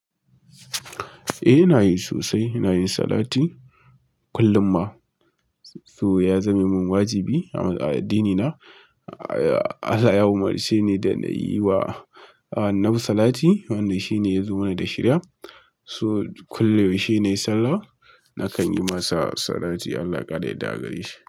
Eh, ina yi sosai. iNa yin salati kullum ma. So ya zame min wajibi a addinina. Allah ya umuce no da inyi wa annabi dalatk wamda shime ya zo man da shiriya. So kullum shi ne Sallah, na kan yi masa salati. Allah ya kara yadda agare shi.